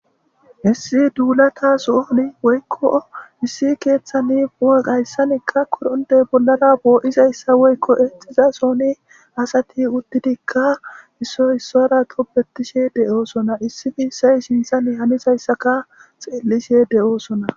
Issi duulata sooni woykko issi keeththani garssanikka koronitiya bollara poo'iza issa woykko eexiza sooni asati uttidikka isso issora tobetishe de'oosona. Issi miishay sinthan haniya issaka xeellishe de'oosona.